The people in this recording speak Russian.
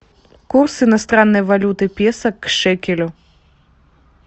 курс иностранной валюты песо к шекелю